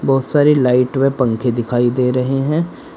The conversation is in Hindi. बहुत सारी लाइट व पंखे दिखाई दे रहे हैं।